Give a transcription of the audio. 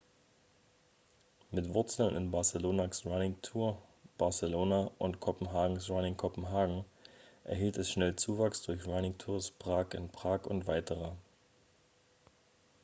mit wurzeln in barcelonas running tours barcelona und kopenhagens running copenhagen erhielt es schnell zuwachs durch running tours prague in prag und weitere